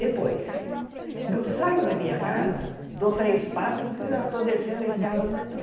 Depois, eu saio da minha casa, dou três passos e já estou descendo a escada do metrô.